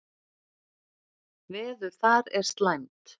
Veður þar er slæmt.